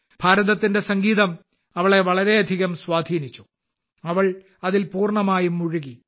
ഭാരതത്തിന്റെ സംഗീതം അവളെ വളരെയധികം ആകർഷിച്ചു അവൾ അതിൽ പൂർണമായും മുഴുകി